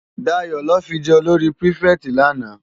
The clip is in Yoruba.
Dayo lò fi jè ólóri pirifèti làná